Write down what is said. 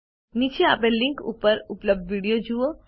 નીચે આપેલ લીનક ઉપર ઉપલબ્ધ વિડીઓ જુઓ